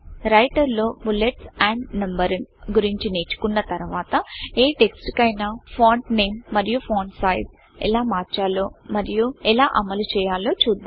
writer లో bullets and Numberingబులెట్స్ and numbering గురించి నేర్చుకున్న తర్వాత ఏ టెక్స్ట్ కైనా ఫాంట్ nameఫాంట్ నేమ్ మరియు ఫాంట్ sizeఫాంట్ నేమ్ ఎలా మార్చాలో మరియు ఎలా అమలు చేయాలో చుద్దాం